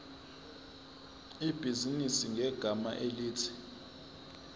ibhizinisi ngegama elithi